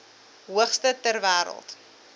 hoogste ter wêreld